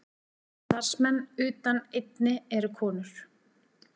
Allir starfsmenn utan einn eru konur